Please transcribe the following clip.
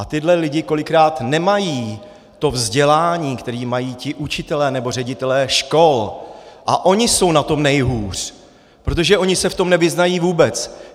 A tihle lidé kolikrát nemají to vzdělání, které mají ti učitelé nebo ředitelé škol, a oni jsou na tom nejhůř, protože oni se v tom nevyznají vůbec.